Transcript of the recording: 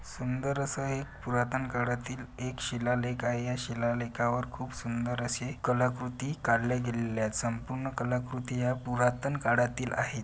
सुंदर अस एक पुरातन काळातील एक शिलालेख आहे या शिलालेखावर खूप सुंदर असे कलाकृती काढल्या गेलेल्या संपूर्ण कलाकृती या पुरातन काळातील आहे.